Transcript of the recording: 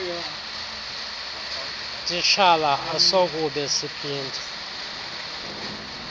titshala asokube siphinde